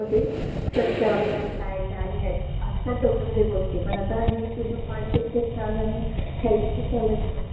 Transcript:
स्वच्छ अभियान काय आहे काय लिहायचं? असतात डोक्यामद्धे गोष्टी पण आता हे तुझे पॉइंट इतके चयन आणि हेल्पफुल झालेत ना की